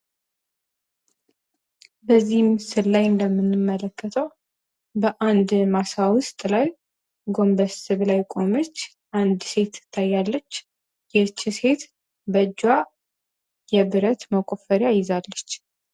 በዚህ ምስል እንደምንመለከተው በአንድ ማሳጅ ጎንበስ ብላ የቆመች አንዲት ሴት ትታያለች ይህች ሴት በእጇ የብረት መቆፈርያ ይዛለች።